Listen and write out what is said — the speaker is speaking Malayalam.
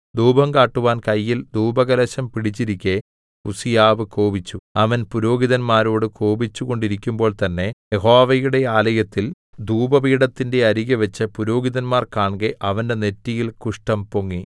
ധൂപം കാട്ടുവാൻ കയ്യിൽ ധൂപകലശം പിടിച്ചിരിക്കെ ഉസ്സീയാവ് കോപിച്ചു അവൻ പുരോഹിതന്മാരോട് കോപിച്ചുകൊണ്ടിരിക്കുമ്പോൾ തന്നേ യഹോവയുടെ ആലയത്തിൽ ധൂപപീഠത്തിന്റെ അരികെ വെച്ച് പുരോഹിതന്മാർ കാൺകെ അവന്റെ നെറ്റിയിൽ കുഷ്ഠം പൊങ്ങി